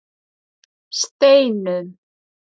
Steinum